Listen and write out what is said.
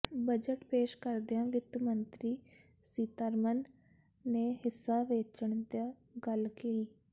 budget ਪੇਸ਼ ਕਰਦਿਆਂ ਵਿੱਤ ਮੰਤਰੀ ਸੀਤਾਰਮਨ ਨੇ ਹਿੱਸਾ ਵੇਚਣ ਦੀ ਗੱਲ ਕਹੀ